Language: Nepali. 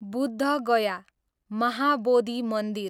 बुद्ध गया, महाबोधी मन्दिर